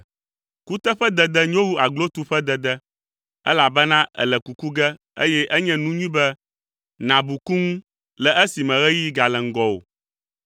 Kuteƒedede nyo wu aglotuƒedede elabena èle kuku ge eye enye nu nyui be nàbu ku ŋu le esime ɣeyiɣi gale ŋgɔwò.